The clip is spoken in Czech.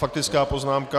Faktická poznámka.